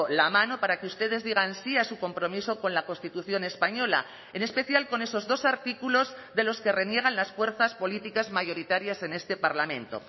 la mano para que ustedes digan sí a su compromiso con la constitución española en especial con esos dos artículos de los que reniegan las fuerzas políticas mayoritarias en este parlamento